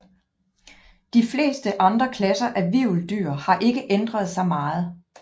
De fleste andre klasser af hvirveldyr har ikke ændret sig meget